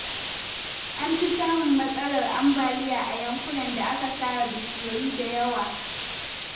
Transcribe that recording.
An fi samun matsalar ambaliya a yankunan da aka sare bishiyoyi da yawa.